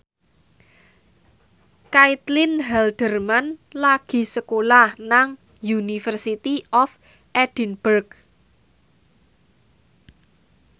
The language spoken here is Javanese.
Caitlin Halderman lagi sekolah nang University of Edinburgh